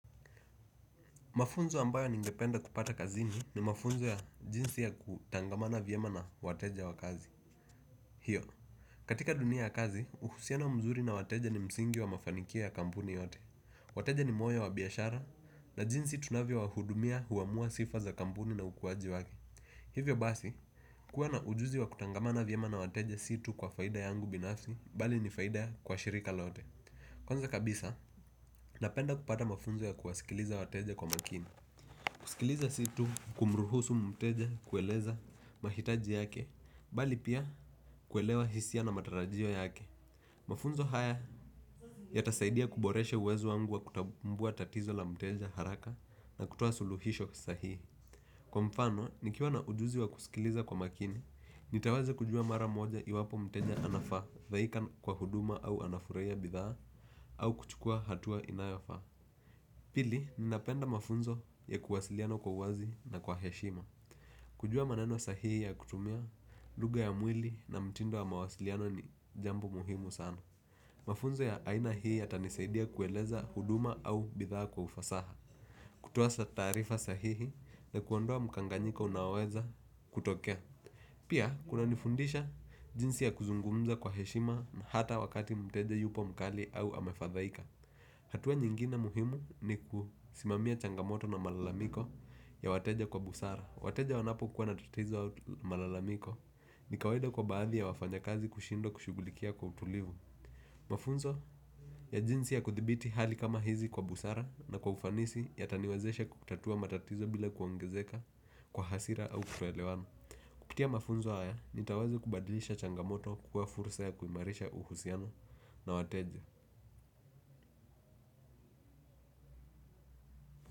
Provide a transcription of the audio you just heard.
Mafunzo ambayo ningependa kupata kazini ni mafunzo ya jinsi ya kutangamana vyema na wateja wa kazi. Hiyo, katika dunia ya kazi, uhusiano mzuri na wateja ni msingi wa mafanikio ya kampuni yote. Wateja ni moyo wa biashara na jinsi tunavyo wahudumia huamua sifa za kampuni na ukuaji wake. Hivyo basi, kuwa na ujuzi wa kutangamana vyema na wateja si tu kwa faida yangu binafsi, bali ni faida kwa shirika lote. Kwanza kabisa, napenda kupata mafunzo ya kuwasikiliza wateja kwa makini. Kusikiliza si tu kumruhusu mteja kueleza mahitaji yake, bali pia kuelewa hisia na matarajio yake. Mafunzo haya yatasaidia kuboreshe uwezo wangu wa kutambua tatizo la mteja haraka na kutoa suluhisho sahihi. Kwa mfano, nikiwa na ujuzi wa kusikiliza kwa makini, nitaweza kujua mara moja iwapo mteja anafadhaika kwa huduma au anafurahia bidhaa au kuchukua hatua inayofaa. Pili, ninapenda mafunzo ya kuwasiliano kwa uwazi na kwa heshima. Kujua maneno sahihi ya kutumia, lugha ya mwili na mtindo ya mawasiliano ni jambo muhimu sana. Mafunzo ya aina hii yatanisaidia kueleza huduma au bidhaa kwa ufasaha. Kutoa taarifa sahihi na kuondoa mkanganyiko unaoweza kutokea. Pia, kunanifundisha jinsi ya kuzungumza kwa heshima na hata wakati mteje yupo mkali au amefadhaika. Hatua nyingine muhimu ni kusimamia changamoto na malalamiko ya wateja kwa busara. Wateja wanapo kwa na tatizo au malalamiko ni kawaida kwa baadhi ya wafanya kazi kushindwa kushugulikia kwa utulivu. Mafunzo ya jinsi ya kuthibiti hali kama hizi kwa busara na kwa ufanisi yataniwazesha kutatua matatizo bila kuongezeka kwa hasira au kutoelewano. Kupitia mafunzo haya nitaweza kubadilisha changamoto kuwa fursa ya kuimarisha uhusiano na wateja.